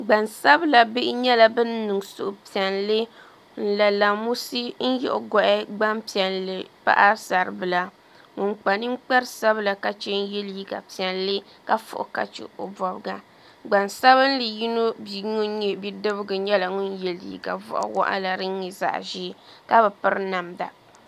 Gbansabila bihi nyɛla bin niŋ suhupiɛlli n la lamusi n yiɣi goɣi gbanpiɛlli paɣasaribila ŋun kpa ninkpara sabila ka chɛ n yɛ liiga piɛlli ka fui ka chɛ o bobga gbansabili bia ŋun nyɛ bia yino nyɛla ŋun yɛ liiga boɣa waɣala din nyɛ zaɣ ʒiɛ ka bi piri namda